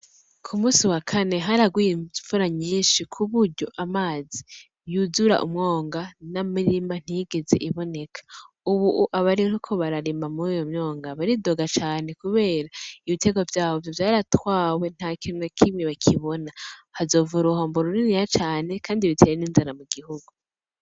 K'umusi wa kane haraguye imvura nyinshi kuburyo amazi yuzura umwonga n'imirima ntiyigeze iboneka, ubu abariko bararimba muruyo mwonga baridoga cane, kubera ibiterwa vyabo vyaratwawe ntakintu na kimwe bakibona hazova uruhombo ruriniya cane, kandi bitere n'inzara mugihugu.